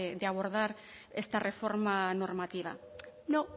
de abordar esta reforma normativa no